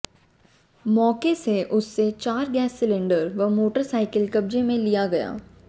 मौके से उससे चार गैस सिलेंडर व मोटरसाइकिल कब्जे में लिया गया